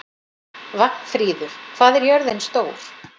Vagnfríður, hvað er jörðin stór?